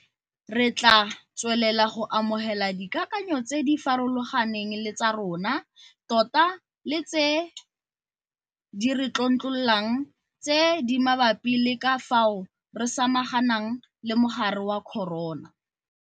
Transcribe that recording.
Re tla tswelela go amogela dikakanyo tse di farologaneng le tsa rona tota le tse di re tlontlololang tse di mabapi le ka fao re samaganang le mogare wa corona.